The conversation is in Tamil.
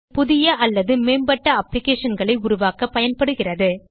இது புதிய அல்லது மேம்பட்ட applicationகளை உருவாக்கப் பயன்படுகிறது